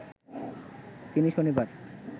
তিনি শনিবার